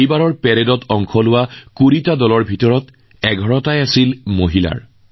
এইবাৰ পেৰেডত মাৰ্চ কৰা ২০টা স্কোৱাডৰ ভিতৰত ১১টা স্কোৱাড আছিল কেৱল মহিলাৰ